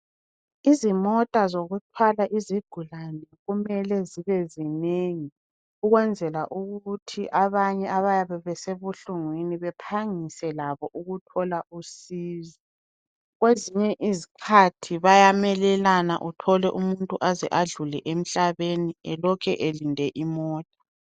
Izimota zokuthwala izigulani kumele zibe zinengi ukwenzela ukuthi abanye abayabe besebuhlungwini bephangise labo ukuthola usizo. Kwezinye izikhathi bayamelelana uthole umuntu aze adlule emhlabeni elokhe elinde imota.